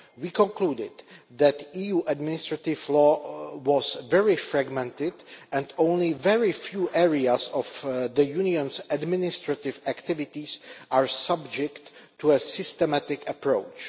We concluded that EU administrative law was very fragmented and only a very few areas of the Union's administrative activities were subject to a systematic approach.